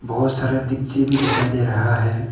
बहुत सारा डिक्ची भी दिखाई दे रहा है।